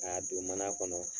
K'a don mana kɔnɔ